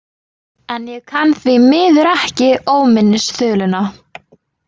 En ég kann því miður ekki Óminnisþuluna.